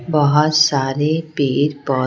बहुत सारे पेर पौ --